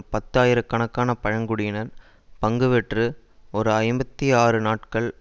பத்து ஆயிரக்கணக்கான பழங்குடியினர் பங்குபெற்று ஒரு ஐம்பத்தி ஆறு நாட்கள்